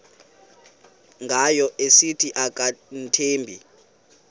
ngayo esithi akamthembi